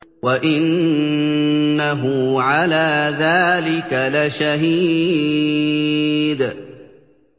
وَإِنَّهُ عَلَىٰ ذَٰلِكَ لَشَهِيدٌ